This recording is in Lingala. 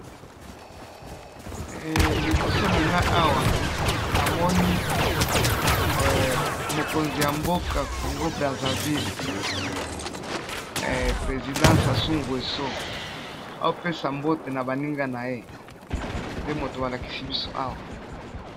Liboso nanga awa namoni mokonzi ya mboka congo brazzavile president sasu ngueso aopesa mbote na baninga naye, nde moto ba lakisi biso awa.